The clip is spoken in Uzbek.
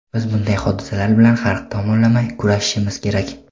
biz bunday hodisalar bilan har tomonlama kurashishimiz kerak.